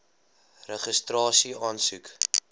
registrasieaansoek